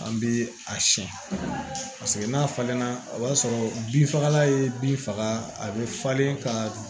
An bɛ a siyɛn paseke n'a falenna o b'a sɔrɔ bin fagala ye bin faga a bɛ falen ka